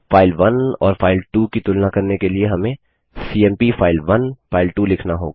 file 1 और फाइल2 की तुलना करने के लिए हमें सीएमपी फाइल1 फाइल2 लिखना होगा